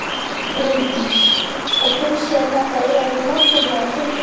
Bryndís: Og finnst þér þetta eiga við Morgunblaðið stundum?